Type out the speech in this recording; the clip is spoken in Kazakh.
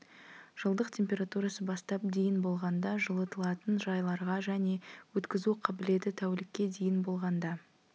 жылдық температурасы бастап дейін болғанда жылытылатын жайларға және өткізу қабілеті тәулікке дейін болғанда